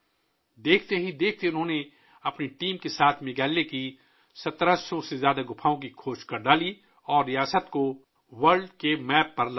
کچھ ہی وقت میں، انہوں نے اپنی ٹیم کے ساتھ میگھالیہ میں 1700 سے زیادہ غاریں دریافت کیں اور ریاست کو عالمی غار کے نقشے پر پیش کیا